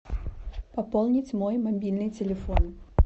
пополнить мой мобильный телефон